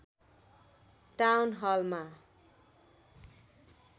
town Halma